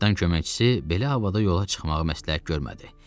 Kapitan köməkçisi belə havada yola çıxmağı məsləhət görmədi.